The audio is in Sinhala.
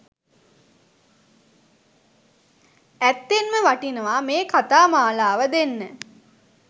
ඇත්තෙන්ම වටිනවා මේ කතාමාලාව දෙන්න